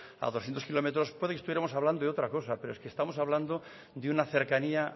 a doscientos kilómetros puede que estuviéramos hablando de otra cosa pero es que estamos hablando de una cercanía